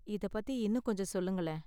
இத பத்தி இன்னும் கொஞ்சம் சொல்லுங்களேன்.